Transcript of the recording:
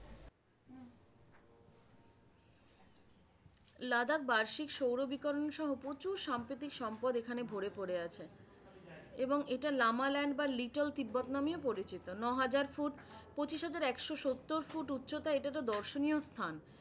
লাদাখ বার্ষিক সৌরবিকরণসহ প্রচুর সাম্প্রতিক সম্পদ এখানে ভরে পড়ে আছে। এবং এটা লামালান্ড বা little তিব্বত নামেও পরিচিত। নহাজার ফুট পঁচিশ হাজার একশো সত্তর ফুট উচ্চতা। এটা তো দর্শনীয় স্থান।